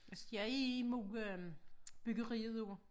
Altså jeg er imod øh byggeriet af